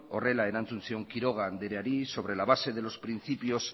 horrela erantzun zion quiroga andreari sobre la base de los principios